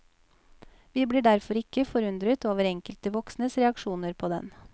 Vi blir derfor ikke forundret over enkelte voksnes reaksjoner på den.